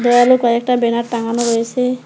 দেওয়ালে কয়েকটা ব্যানার টাঙানো রয়েসে।